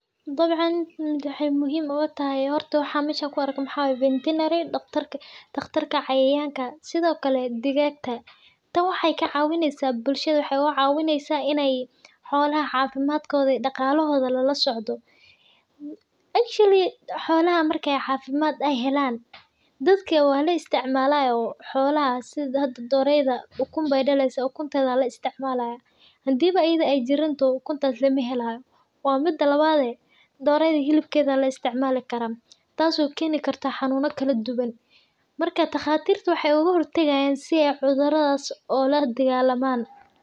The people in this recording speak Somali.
Dabcan waxee muhiim ogu tahay maxaa waye in ee xolaha cafimadkodlodha dadka marki ee cafimaad helan xolaha sitha doreyda ukuntedha aya laisticmali Marka daqatirta waxee oga hortagayin si ee cudhurada ola daqalaman sithas waye muhiimaada ee ledahay in dadku ee leyihin hola muhiim ah.